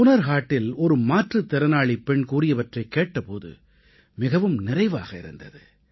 ஹுனர் ஹாட்டில் ஒரு மாற்றுத்திறனாளிப் பெண் கூறியவற்றைக் கேட்ட போது மிகவும் நிறைவாக இருந்தது